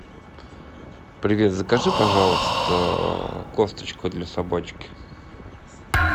привет закажи пожалуйста кофточку для собачки